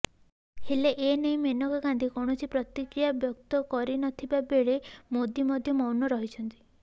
ହେଲେ ଏ ନେଇ ମେନକା ଗାନ୍ଧି କୌଣସି ପ୍ରତିକ୍ରିୟା ବ୍ୟକ୍ତ କରିନଥିବା ବେଳେ ମୋଦି ମଧ୍ୟ ମୌନ ରହିଛନ୍ତି